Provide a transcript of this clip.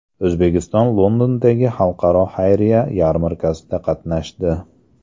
O‘zbekiston Londondagi Xalqaro xayriya yarmarkasida qatnashdi.